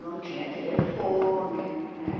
Não tinha telefone, né?